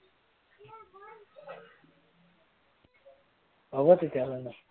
হব তেতিয়াহলে ন